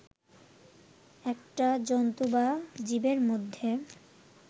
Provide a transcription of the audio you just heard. একটা জন্তু বা জীবের মধ্যে